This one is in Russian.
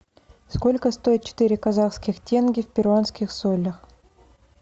сколько стоит четыре казахских тенге в перуанских солях